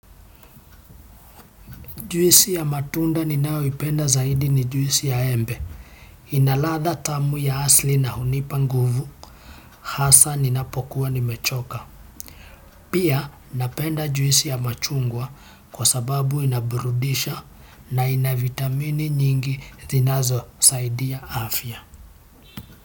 Juisi ya matunda ninaoipenda zaidi ni juisi ya embe. Ina ladha tamu ya asili na hunipa nguvu hasa ninapokuwa nimechoka. Pia napenda juisi ya machungwa kwa sababu inaburudisha na ina vitamini nyingi zinazosaidia afya.